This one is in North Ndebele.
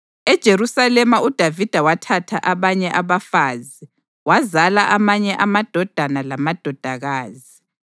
EJerusalema uDavida wathatha abanye abafazi wazala amanye amadodana lamadodakazi.